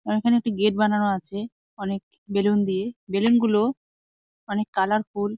আর এখানে একটি গেট বানানো আছে। অনেক বেলুন দিয়ে। বেলুন -গুলো অনেক কালারফুল ।